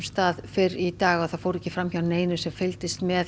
fyrr í dag það fór ekki fram hjá neinum sem fylgdist með